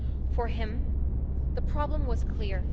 For him, the problem was clear.